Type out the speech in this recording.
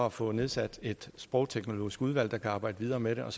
at få nedsat et sprogteknologisk udvalg der kan arbejde videre med det og